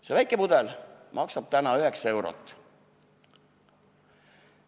See väike pudel maksab täna 9 eurot.